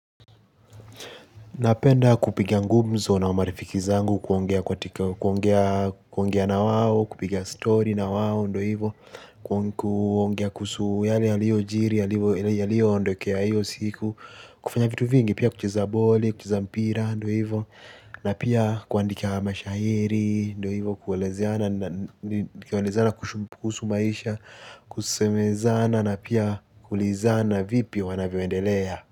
Napenda kupiga ngumzo na marifiki zangu kuongea na wawo, kupiga story na wawo ndo hivo. Kuongea kuhusu yale yaliyo jiri yaliyo ondokea hiyo siku. Kufanya vitu vingi pia kucheza boli, kucheza mpira ndo hivo. Na pia kuandika mashahiri ndo hivo kuelezeana kushumpusu maisha. Kusemezana na pia kulizana vipi wanavyoendelea.